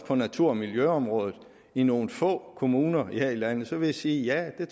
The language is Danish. på natur og miljøområdet i nogle få kommuner her i landet så vil jeg sige ja det